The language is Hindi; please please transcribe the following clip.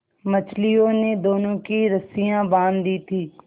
मछलियों ने दोनों की रस्सियाँ बाँध दी थीं